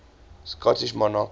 scottish monarchs